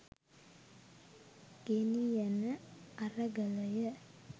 ගෙනි යන අරගලය